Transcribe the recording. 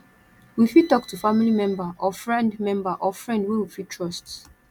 we fit talk to family member or friend member or friend wey we fit trust